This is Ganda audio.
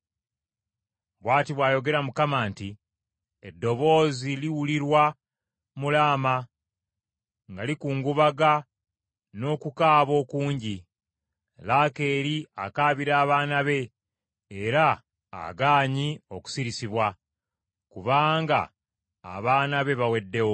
Bw’ati bw’ayogera Mukama nti, “Eddoboozi liwulirwa mu Laama, nga likungubaga n’okukaaba okungi. Laakeeri akaabira abaana be era agaanye okusirisibwa, kubanga abaana be baweddewo.”